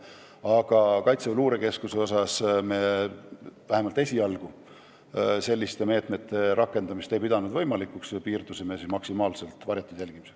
Aga Kaitseväe Luurekeskuses selliste meetmete rakendamist me vähemalt esialgu võimalikuks ei pidanud ja piirdusime maksimaalselt varjatud jälgimisega.